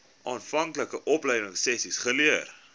aanvanklike opleidingsessies geleer